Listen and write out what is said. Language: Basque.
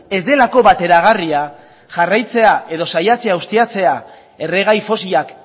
ez delako bateragarria jarraitzea edo saiatzea ustiatzea erregai fosilak